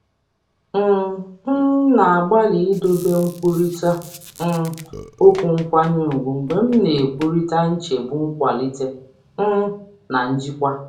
M um na-agbalị idobe nkwurịta um okwu nkwanye ùgwù mgbe m na-ekwurịta nchegbu nkwalite um na njikwa.